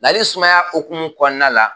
Lali sumaya hokumu kɔnɔna la.